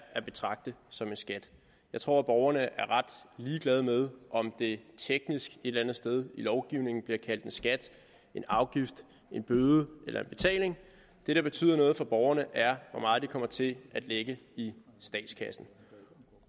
at betragte som en skat jeg tror borgerne er ret ligeglade med om det teknisk et eller andet sted i lovgivningen bliver kaldt en skat en afgift en bøde eller en betaling det der betyder noget for borgerne er hvor meget de kommer til at lægge i statskassen